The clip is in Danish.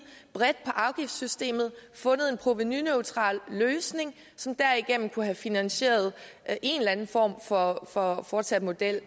bredt på afgiftssystemet og fundet en provenuneutral løsning som derigennem kunne have finansieret en eller anden form for for fortsat model